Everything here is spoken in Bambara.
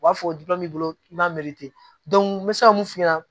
U b'a fɔ b'i bolo i m'a meri ten n bɛ se ka mun f'u ɲɛna